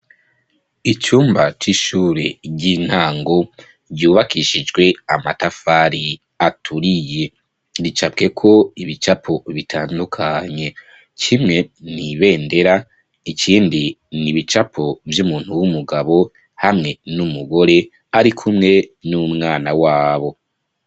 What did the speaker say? Icumba c’ishure ry’intango ryubakishijwe amatafari aturiye , ricapweko ibicapo bitandukanye kimwe n’ibendera ikindi n’ibicapo vyumuntu w’umugabo hamwe n’umugore arikumwe n’umwana wabo.